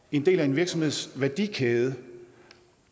en del af en virksomheds værdikæde